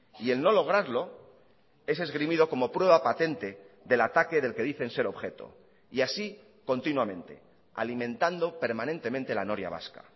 y el no lograrlo es esgrimido como prueba patente del ataque del que dicen ser objeto y así continuamente alimentando permanentemente la noria vasca